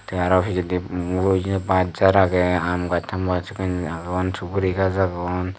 te aro pijedi buye baj jhar aage aam gaj taam gaj agon suguri gaj agon.